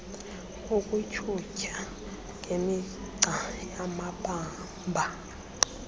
ukutyhutyha ngemigca yamabamba